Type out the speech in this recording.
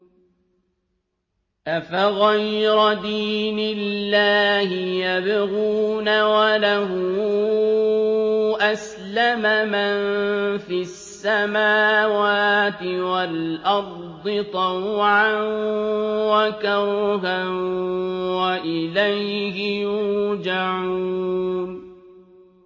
أَفَغَيْرَ دِينِ اللَّهِ يَبْغُونَ وَلَهُ أَسْلَمَ مَن فِي السَّمَاوَاتِ وَالْأَرْضِ طَوْعًا وَكَرْهًا وَإِلَيْهِ يُرْجَعُونَ